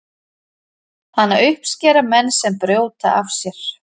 hana uppskera menn sem brjóta af sér